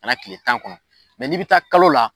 A kɛra kile tan kɔnɔ n'i bi taa kalo la